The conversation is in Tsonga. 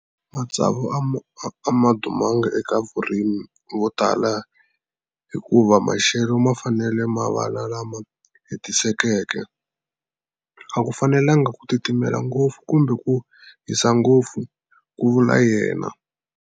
Matsavu a ma dumanga eka varimi votala hikuva maxelo ma fanele ma va lama hetisekeke. A ku fanelanga ku titimela ngopfu kumbe ku hisa ngopfu, ku vula yena.